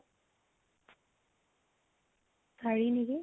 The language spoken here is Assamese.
চাৰি নেকি ?